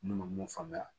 N bɛ mun faamuya